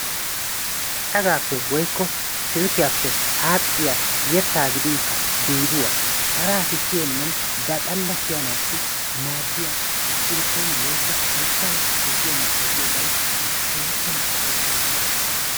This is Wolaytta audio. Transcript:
Cadaappe woykko silkkiyappe aadhdhiya yettaa gidinkka biiduwa hara asi siyennan ba xalla siyanaassi maaddiya irippooniya woykko hayttaa ezggiyo miishshaa giyoobayi tana keehippe malaales ha meretayi.